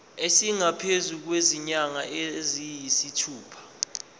esingaphezu kwezinyanga eziyisithupha